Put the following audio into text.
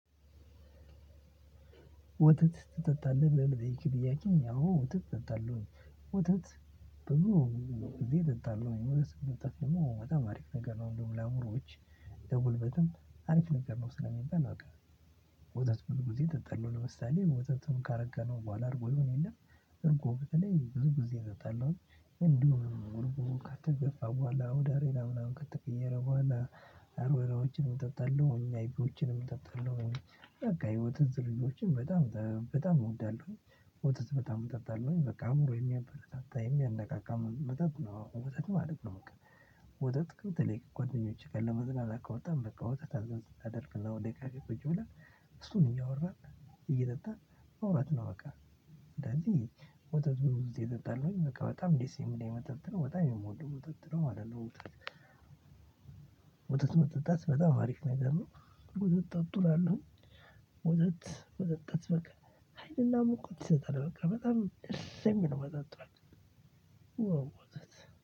ወተት ትጠጣለህ ብለህ ለጠየከኝ ጥያቄ አዎ ወተት እጠጣለሁኝ። ወተት ብዙ ጊዜ እጠጣለሁኝ ወተት መጠጣት ደግሞ በጣም አሪፍ ነገር ነው እንደውም ለአእምሮዎች ለጉልበትም አሪፍ ነገር ነው ስለሚባል በቃ ወተት ብዙ ጊዜ እጠጣለሁ ለምሳሌ ወተቱን ካረጋነው በኋላ እርጎ ይሆን የለ እርጎ በተለይ ብዙ ጊዜ እጠጣለሁኝ እንዲሁ እርጎ ከተገፋ በኋላ ወደ አሬራ ምናምን ከተቀየረ በኋላ አሬራዎችንም እጠጣለሁ አይቢዬዎችንም እጠጣለው በቃ የወተት ዝርዮችን በጣም በጣም እወዳለሁ። ወተት በጣም እጠጣለሁኝ በቃ አእምሮ የሚያበረታታ የሚያነቃቃ መጠጥ ነው መተት ማለት ነው በቃ። ወተት በተለይ ከጓደኞቼ ጋር ለመዝናናት ከወጣን በቃ ወተት አድር አደርግና ወደ ካፌ ቁጭ ብለን እሱን እያወራን እየጠጣን ማውራት ነው አቃ። አንዳንዴ ወተት ብዙ ግዜ እጠጣለሁኝ ደስ የሚለኝ መጠጥ ነው በጣም የምወደው መጠጥ ነው ማለት ነው። ወተት መጠጣት በጣም አሪፍ ነገር ነው። ወተት ጠጡ እላለሁኝ። ወተት መጠጣት በቃ ሀይልና ሙቀት ይሰጣል በቃ በጣም ደስ የሚል መጠጥ ነው ዋው ወተት።